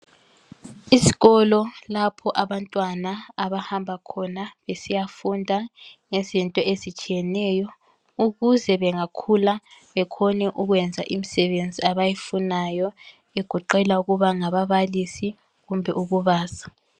Isikolo lapho abantwana abahamba khona besiyafunda ngezinto ezitshiyeneyo ukuze bengakhula bekhone ukuthola imisebenzi abayifunayo egoqela ukuba ngababalisi kumbe ukubaza.